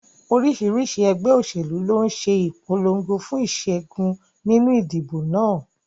Oríṣiríṣi ẹgbẹ́ òṣèlú ló ń ṣe ìpolongo fún ìṣẹ́gun nínú ìdìbò náà.